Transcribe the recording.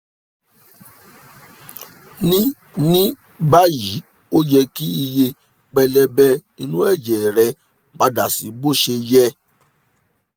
ní ní báyìí ó yẹ kí iye pẹlẹbẹ inú ẹ̀jẹ̀ rẹ padà sí bó ṣe yẹ